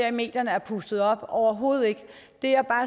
i medierne er pustet op og